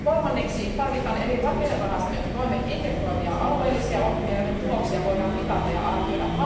Kolmanneksi tarvitaan eri rakennerahastojen toimet integroivia alueellisia ohjelmia, joiden tuloksia voidaan mitata ja arvioida.